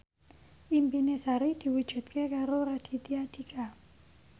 impine Sari diwujudke karo Raditya Dika